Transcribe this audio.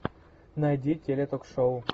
найди теле ток шоу